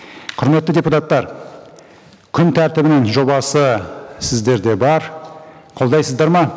құрметті депутаттар күн тәртібінің жобасы сіздерде бар қолдайсыздар ма